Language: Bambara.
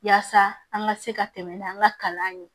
Yaasa an ka se ka tɛmɛ n'an ka kalan ye